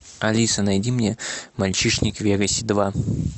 алиса найди мне мальчишник в вегасе два